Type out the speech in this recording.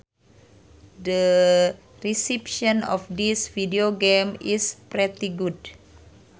The reception of this videogame is pretty good